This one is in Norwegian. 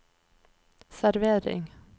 servering